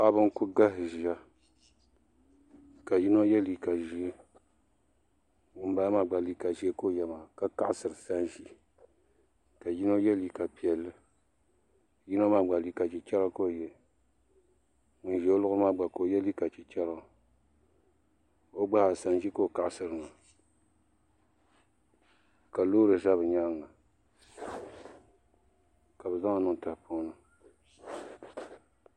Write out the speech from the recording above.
Paɣaba n ku galisi ʒiya ka yino yɛ liiga ʒiɛ ŋunbala maa gba liiga ʒiɛ ka o yɛ ka kaɣasiri sanʒi ka yino yɛ liiga piɛlli yino maa gba liiga chichɛra ka o yɛ ŋun ʒɛ o luɣuli maa gba ka o gba yɛ liiga chichɛra o gba zaa sanʒi ka o kaɣasiri maa ka loori ʒɛ bi nyaanga ka bi zaŋli niŋ tahapoŋ ni